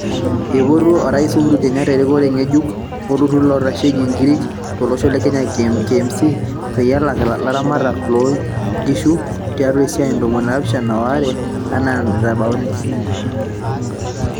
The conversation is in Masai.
Eipotuo ooraisi Uhuru Kenyatta erikore ng'eejuk oltururu loitasheki nkirik to losho le Kenya (KMC) peyie elak ilaramatak loo ng'ishuu tiatu isaai ndomoni naapishana o aare enaa nitabauni.